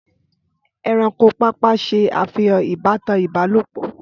Ẹranko pàápàá ṣe àfihàn ìbátan Ibalopọ